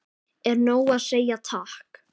Er nóg að segja takk?